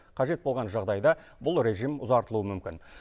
қажет болған жағдайда бұл режим ұзартылуы мүмкін